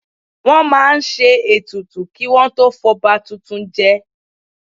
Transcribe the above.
Wọ́n máa ń ṣe ètùtù kí wọn tó fọba tuntun jẹ